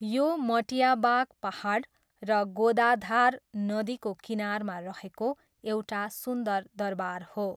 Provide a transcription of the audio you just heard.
यो मटियाबाग पाहाड र गोदाधार नदीको किनारमा रहेको एउटा सुन्दर दरबार हो।